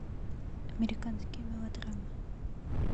американские мелодрамы